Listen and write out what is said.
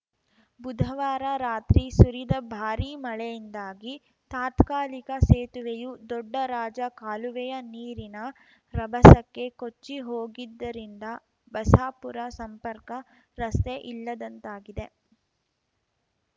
ಬುಧವಾರ ರಾತ್ರಿ ಸುರಿದ ಭಾರೀ ಮಳೆಯಿಂದಾಗಿ ತಾತ್ಕಾಲಿಕ ಸೇತುವೆಯೂ ದೊಡ್ಡ ರಾಜ ಕಾಲುವೆಯ ನೀರಿನ ರಭಸಕ್ಕೆ ಕೊಚ್ಚಿ ಹೋಗಿದ್ದರಿಂದ ಬಸಾಪುರ ಸಂಪರ್ಕ ರಸ್ತೆ ಇಲ್ಲದಂತಾಗಿದೆ